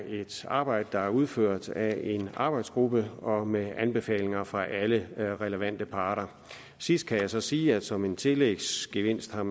et arbejde der er udført af en arbejdsgruppe og med anbefalinger fra alle relevante parter sidst kan jeg så sige at man som en tillægsgevinst har